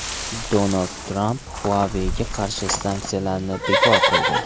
Donald Tramp Huawei’ga qarshi sanksiyalarni bekor qildi.